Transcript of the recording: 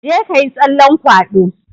Jeka yi tsallan kwado!